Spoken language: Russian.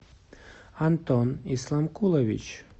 антон исланкулович